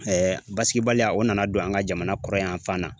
basigibaliya o nana don an ŋa jamana kɔrɔnyanfan na.